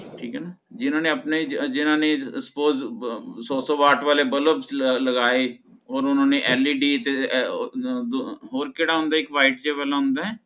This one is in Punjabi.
ਠੀਕ ਹੈ ਨਾ ਜਿਨ੍ਹਾਂ ਨੇ ਆਪਣੇ ਜ ਜ ਜਿਨ੍ਹਾਂ ਨੇ suppose ਸੌ ਸੌ ਵਾਟ ਵਾਲੇ ਬੱਲਬ ਲਗਾਏ ਹੋਰ ਓਹਨਾ ਨੇ Led ਅਹ ਅਹ ਤੇ ਹੋਰ ਕਿਹੜਾ ਹੁੰਦਾ ਹੈ ਇਕ white ਕੇਬਲ ਹੁੰਦਾ ਹੈ